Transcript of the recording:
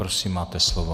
Prosím, máte slovo.